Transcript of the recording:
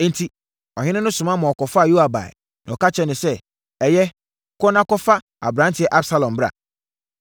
Enti, ɔhene no soma ma wɔkɔfaa Yoab baeɛ, na ɔka kyerɛɛ no sɛ, “Ɛyɛ, kɔ na kɔfa aberanteɛ Absalom bra.”